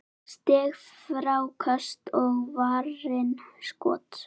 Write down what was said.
Stig, fráköst og varin skot